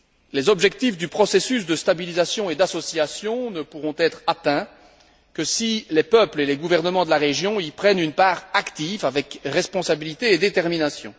Les objectifs du processus de stabilisation et d'association ne pourront être atteints que si les peuples et les gouvernements de la région y prennent une part active, avec responsabilité et détermination.